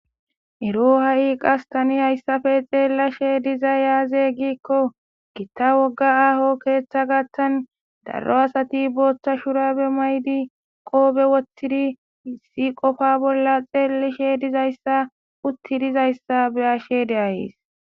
ero ha7i qas tani hayssafe xeellashe dizay yaaze giikko gitta wogga aaho keeththa gattan darro asati booththa shurabe maydi qoobe wottidi hissi qofa bolla xeellishe dizayssa utti dizayssa be ashe de7ayis